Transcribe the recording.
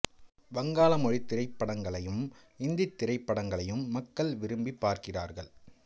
வங்காள மொழித் திரைப்படங்களையும் இந்தித் திரைப்படங்களையும் மக்கள் விரும்பிப் பார்க்கிறார்கள்